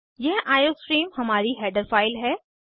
यह आईओस्ट्रीम हमारी header file है